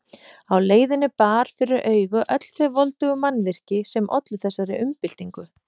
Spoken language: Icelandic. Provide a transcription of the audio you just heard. Á leiðinni bar fyrir augu öll þau voldugu mannvirki sem ollu þessari umbyltingu.